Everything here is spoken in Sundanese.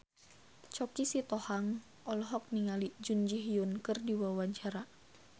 Choky Sitohang olohok ningali Jun Ji Hyun keur diwawancara